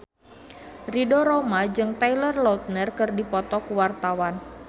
Ridho Roma jeung Taylor Lautner keur dipoto ku wartawan